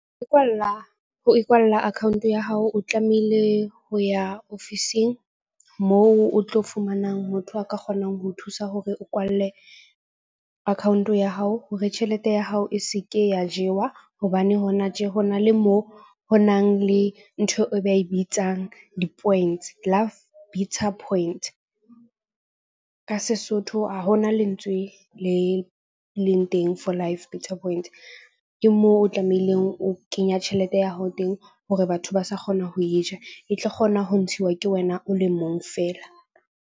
Ikwalla ho ikwalla account ya hao, o tlamehile ho ya ofising moo o tlo fumanang motho a ka kgonang ho thusa hore o kwalle account ya hao. Hore tjhelete ya hao e se ke ya jewa. Hobane hona tje ho na le moo ho nang le ntho e ba e bitsang di-points . Ka Sesotho ha ho na lentswe le leng teng for . Ke moo o tlamehileng o kenya tjhelete ya hao teng hore batho ba sa kgona ho e ja. E tlo kgona ho ntshiwa ke wena o le mong fela.